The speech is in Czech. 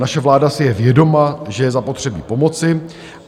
Naše vláda si je vědoma, že je zapotřebí pomoci.